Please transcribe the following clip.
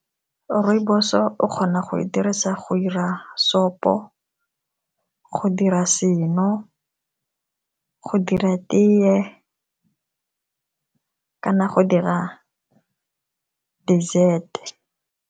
Rooibos-o o kgona go e dirisa go 'ira sopo, go dira seno, go dira teye kana go dira dessert-e.